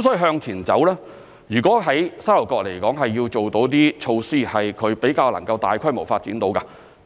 所以向前走，如果在沙頭角要做某些措施讓其可以比較大規模發展，特